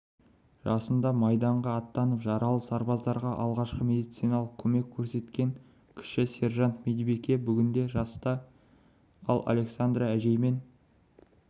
жасында майданға аттанып жаралы сарбаздарға алғашқы медициналық көмек көрсеткен кіші сержант-медбике бүгінде жаста ал александра әжеймен